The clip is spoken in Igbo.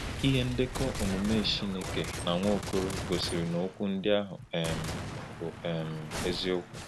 Ihe ndekọ omume Chineke na Nwaokolo gosiri na okwu ndị ahụ um bụ um eziokwu.